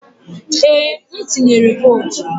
Ee, m tuyere votu.